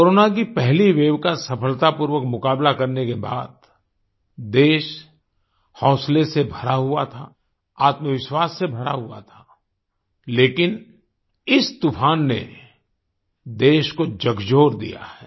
corona की पहली wave का सफलतापूर्वक मुकाबला करने के बाद देश हौंसले से भरा हुआ था आत्मविश्वास से भरा हुआ था लेकिन इस तूफ़ान ने देश को झकझोर दिया है